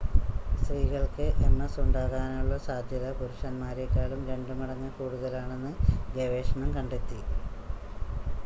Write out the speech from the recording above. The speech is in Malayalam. സ്ത്രീകൾക്ക് എംഎസ് ഉണ്ടാകാനുള്ള സാദ്ധ്യത പുരുഷന്മാരെക്കാളും രണ്ട് മടങ്ങ് കൂടുതലാണെന്ന് ഗവേഷണം കണ്ടെത്തി